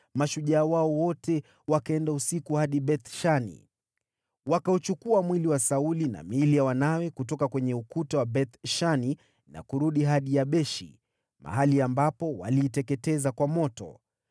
mashujaa wao wote wakaenda usiku hadi Beth-Shani. Wakauchukua mwili wa Sauli na miili ya wanawe kutoka kwenye ukuta wa Beth-Shani na kurudi hadi Yabeshi, mahali ambapo waliiteketeza kwa moto.